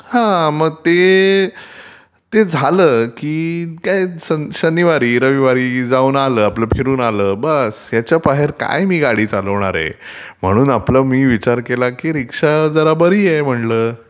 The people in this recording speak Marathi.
हा मग ते झालं की शनिवारी-रविवारी जाऊन आलं आपलं फिरून आलं की बास ह्याच्याबाहेर काय ती गाडी चालवणारे, म्हणून आपलं ते मी विचार केला की रीक्षा जरा बरी आहे म्हटंलं...